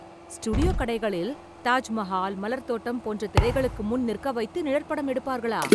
studio கடைகளில், தாஜ் மஹால், மலர் தோட்டம் போன்ற திரைகளுக்கு முன் நிற்க வைத்து நிழற்படம் எடுப்பார்களா..